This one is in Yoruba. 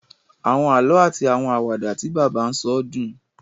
Àwọn àlọ ati àwọn Àwàdà tí bàbá n sọ dùn